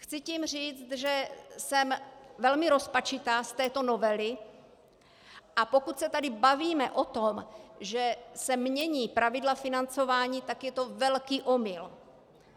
Chci tím říct, že jsem velmi rozpačitá z této novely, a pokud se tady bavíme o tom, že se mění pravidla financování, tak je to velký omyl.